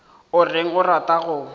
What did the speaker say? o reng o rata go